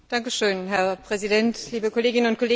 Herr Präsident, liebe Kolleginnen und Kollegen!